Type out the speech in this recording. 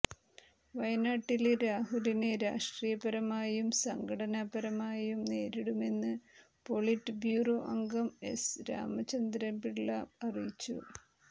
വയനാട്ടില് രാഹുലിനെ രാഷ്ട്രീയപരമായും സംഘടനാ പരമായും നേരിടുമെന്ന് പോളിറ്റ് ബ്യൂറോ അംഗം എസ് രാമചന്ദ്രന് പിള്ള അറിയിച്ചു